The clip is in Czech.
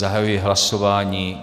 Zahajuji hlasování.